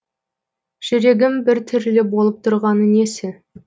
жүрегім біртүрлі болып тұрғаны несі